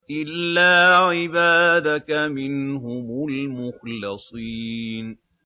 إِلَّا عِبَادَكَ مِنْهُمُ الْمُخْلَصِينَ